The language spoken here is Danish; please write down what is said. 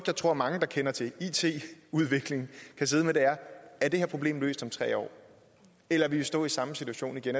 jeg tror mange der kender til it udvikling kan sidde med er er det her problem løst om tre år eller vil vi stå i samme situation igen